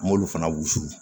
An m'olu fana wusu